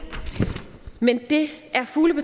men det er fugle på